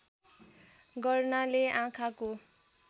गर्नाले आँखाको